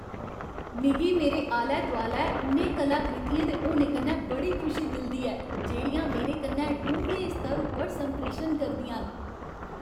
मिगी मेरे आलै दोआलै उ'नें कलाकृतियें दे होने कन्नै बड़ी खुशी मिलदी ऐ जेह्ड़ियां मेरे कन्नै डूंह्गे स्तर उप्पर संप्रेशन करदियां न।